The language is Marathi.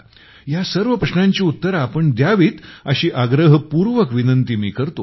या सर्व प्रश्नांची उत्तरे तुम्ही द्यावीत अशी आग्रहपूर्वक विनंती मी करतो